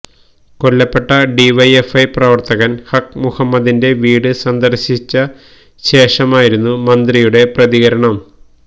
കൊല്ലപ്പെട്ട ഡിവൈഎഫ്ഐ പ്രവര്ത്തകന് ഹക്ക് മുഹമ്മദിന്റെ വീട് സന്ദര്ശിച്ച ശേഷമായിരുന്നു മന്ത്രിയുടെ പ്രതികരണം